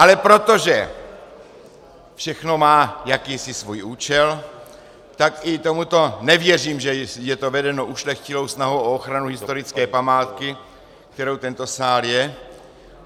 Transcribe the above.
Ale protože všechno má jakýsi svůj účel, tak i tomuto nevěřím, že je to vedeno ušlechtilou snahou o ochranu historické památky, kterou tento sál je.